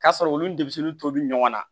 K'a sɔrɔ olu ni tobi ɲɔgɔn na